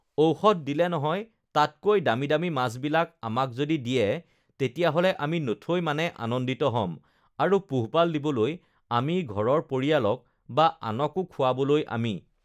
ঔষধ দিলে নহয়, তাতকৈ দামী দামী মাছ বিলাক আমাক যদি দিয়ে, তেতিয়াহ'লে আমি নথৈ মানে ugh আনন্দিত হ'ম আৰু পোহপাল দিবলৈ আমি ঘৰৰ পৰিয়ালক বা আনকো খোৱাবলৈ আমি